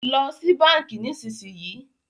Lọ sì bánkì nísìsiyìí!